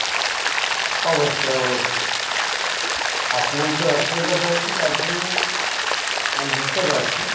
অবশ্যই অবশ্যই আপনার যে অসুবিধাটা হচ্ছে তার জন্য আমি বুঝতে পারছি